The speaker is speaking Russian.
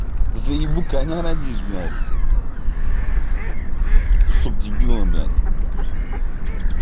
заебу коня родишь блять кусок дебила блять